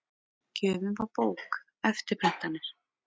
Gjöfin var bók, eftirprentanir